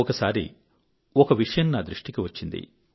ఒకసారి ఒక విషయం నాదృష్టిలోకి వచ్చింది